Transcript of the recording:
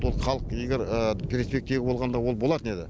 ол халық егер перспектива болғанда ол болатын еді